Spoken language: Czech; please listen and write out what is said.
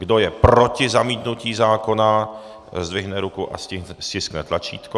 Kdo je proti zamítnutí zákona, zdvihne ruku a stiskne tlačítko.